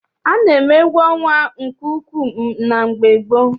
A na-eme egwu ọnwa nke ukwu na mgbe gboo.